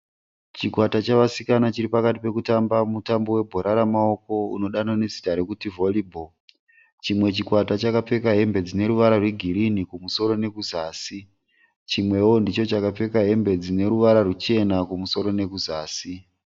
Chikwata chevasikana chiri pakati pekutamba mutambo webhora remaoko unodanwa nezita rokuti vhoribho. Chimwe chikwata chakapfeka hembe dzine ruvara rwegirinhi kumusoro nekuzasi. Chimwewo ndicho chakapfeka hembe dzine ruvara rwuchena kumusoro nekuzasi.